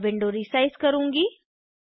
मैं window resize करुँगी